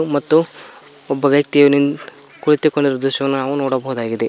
ಅಥವಾ ಭಕ್ತಿಯ ಕುಳಿತುಕೊಂಡಿರುವ ದೃಶ್ಯವನ್ನು ನೋಡಬಹುದಾಗಿದೆ.